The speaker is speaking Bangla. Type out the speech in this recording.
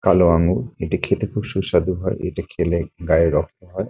কালো আঙ্গুর এটি খেতে খুব সুস্বাদু হয় এটি খেলে গায়ের রক্ত হয়।